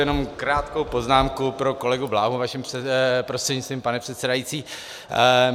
Jenom krátkou poznámku pro kolegu Bláhu vaším prostřednictvím, pane předsedající.